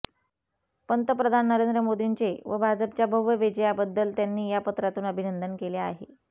पंतप्रधान नरेंद्र मोदींचे व भाजपच्या भव्य विजयाबद्दल त्यांनी या पत्रातून अभिनंदन केले आहे